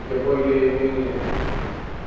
я более и менее